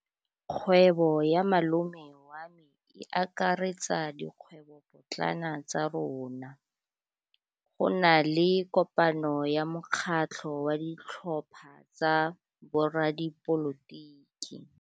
Kgwêbô ya malome wa me e akaretsa dikgwêbôpotlana tsa rona. Go na le kopanô ya mokgatlhô wa ditlhopha tsa boradipolotiki.